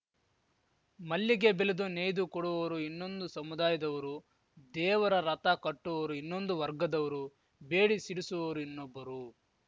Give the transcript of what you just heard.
ಮಲ್ಲಿಗೆ ಬೆಲೆದು ನೇಯ್ದು ಕೊಡುವವರು ಇನ್ನೊಂದು ಸಮುದಾಯದವರು ದೇವರ ರಥ ಕಟ್ಟುವವರು ಇನ್ನೊಂದು ವರ್ಗದವರು ಬೆಡಿ ಸಿಡಿಸುವವರು ಇನ್ನೊಬ್ಬರು